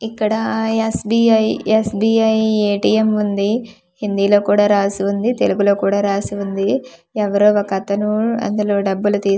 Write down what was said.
ఇక్కడ S B I S B I A T M ఉంది హిందీలో కూడా రాసి ఉంది తెలుగులో కూడా రాసి ఉంది ఎవరో ఒకతను అందులో డబ్బులు తీస్--